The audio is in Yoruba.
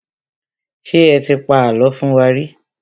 Ṣé ẹ ti pa àlọ́ fún wa rí?